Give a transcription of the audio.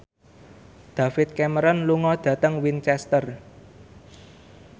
David Cameron lunga dhateng Winchester